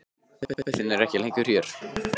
Pabbi þinn er ekki lengur hér.